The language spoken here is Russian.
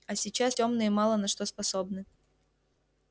а сейчас тёмные мало на что способны